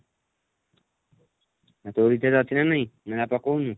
ତୋ recharge ଅଛି ନା ନାହିଁ ନା ଆଉ ପକଉନୁ?